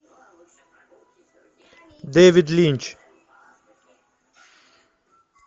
дэвид линч